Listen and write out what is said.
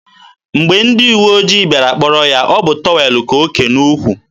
mgbe ndị uwe ojii bịara kpọrọ ya, ọ bụ tọwel ka o ke n'ukwu.